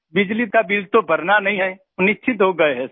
बिजली का बिल तो भरना नहीं है निश्चिन्त हो गए हैं सर